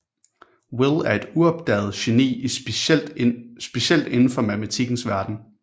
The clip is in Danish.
Will er et uopdaget geni specielt indenfor matematikkens verden